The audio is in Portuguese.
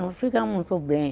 Não fica muito bem.